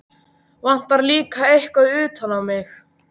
Vantar líka eitthvað utan á mig.